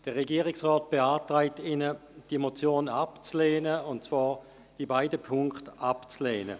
Der Regierungsrat beantragt Ihnen, diese Motion abzulehnen, und zwar in beiden Punkten.